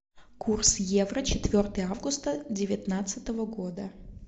курс евро четвертое августа девятнадцатого года